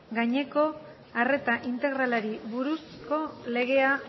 gaineko arreta integralari buruzko legea